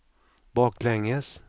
baklänges